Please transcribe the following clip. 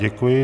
Děkuji.